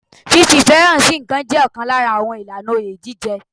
Fífi ìfẹ́ sí ǹkan hàn jẹ́ ọ̀kan lára àwọn ìlànà oyè jíjẹ.